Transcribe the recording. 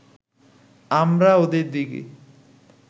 আমরা ওদের দিকে